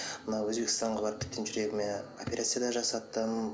мына өзбекстанға барып тіптен жүрегіме операция да жасаттым